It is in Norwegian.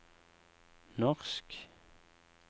norsk